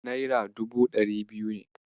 Naira dubu ɗari biyu ne.